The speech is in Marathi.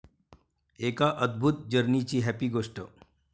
एका अदभुत 'जर्नी'ची 'हॅपी' गोष्ट!